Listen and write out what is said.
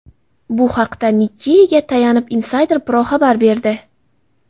Bu haqda Nikkei’ga tayanib, Insider Pro xabar berdi .